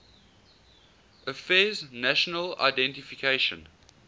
affairs national identification